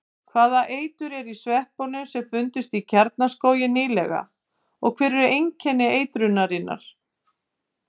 Hvaða eitur er í sveppunum sem fundust í Kjarnaskógi nýlega og hver eru einkenni eitrunarinnar?